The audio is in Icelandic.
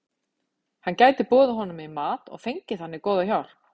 Hann gæti boðið honum í mat og fengið þannig góða hjálp.